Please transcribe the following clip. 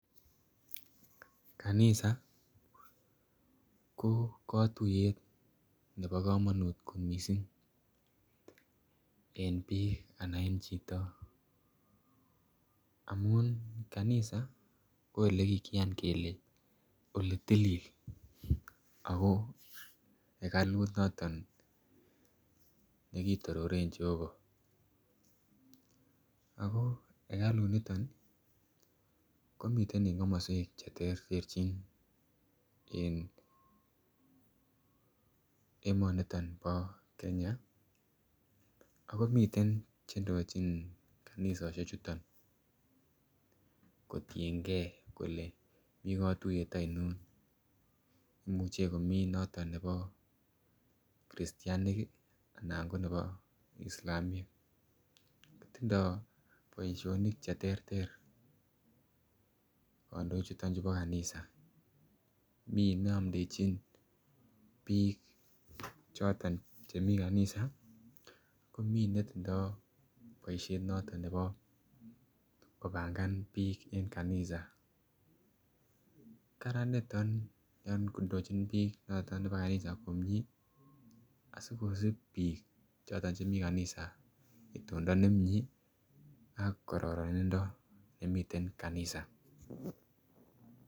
Kanisa ko katuiyet ne bo komonut kot missing en biik ana en chito amun kanisa ko olekikiyan kele oletilil akoo hekalut noton nekitororen Jehovah akoo hekalunito komiten en komoswek cherterchin en emoniton bo kenya akomiten chendochin kanisosiechuton kotiengee kole mii katuiyet ainon imuche komii noton bo christainik ii, ana ngo ne bo Islamiek kotindoo boisionik cheterter kandoichuton chubo kanisa mii neamndejin biik choton chemi kanisa, komii netindoo boisiet noton nebo kopangan biik en kanisa, karan niton yon indochin biik noton nebo kanisa komie asikosip biik choton chemii kanisa tondoo nemie ak kororonindo nemiten kanisa.